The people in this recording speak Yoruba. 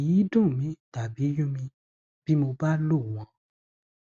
kì í dùn mi tàbí yún mi bí mo bá lò wọn